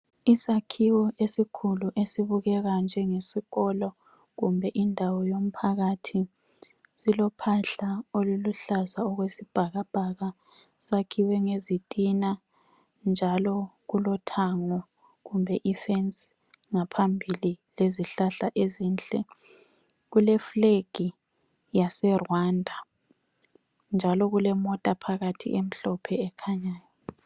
Isakhiwo esikhulu esibukeka njengesikolo kumbe indawo yomphakathi. Silophahla oluluhlaza okwesibhakabhaka sakhiwe ngezitina njalo kulothango kumbe ifence ngaphambili lezihlahla ezinhle. Kule flag yase Rwanda njalo kulemota phakathi emhlophe ekhanyayo.